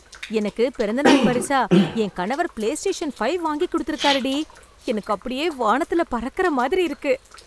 எனக்குப் பிறந்தநாள் பரிசா என் கணவர் பிலேஸ்டேஷன் ஃபைவ் வாங்கிக் குடுத்திருக்காரு டி. எனக்கு அப்படியே வானத்துல பறக்குற மாதிரி இருக்கு!